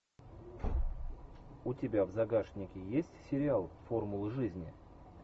у тебя в загашнике есть сериал формулы жизни